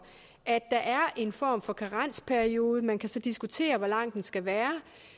at der er en form for karensperiode man kan så diskutere hvor lang den skal være